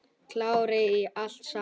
Klárir í allt saman?